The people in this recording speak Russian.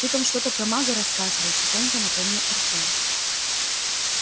ты там что-то про мага рассказывал тихонько напомнил артём